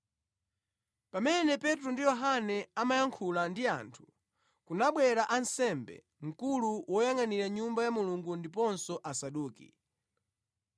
Pamene Petro ndi Yohane amayankhula ndi anthu, kunabwera ansembe, mkulu woyangʼanira Nyumba ya Mulungu ndiponso Asaduki.